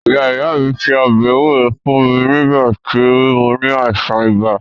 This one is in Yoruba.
Ìyá ìyá mí se ọbẹ̀ ewúro fún mí nígbà tí mó ní àìsàn ibà.